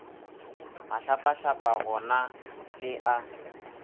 mahlapahlapa go na le a